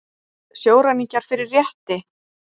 Sjóræningjar fyrir rétti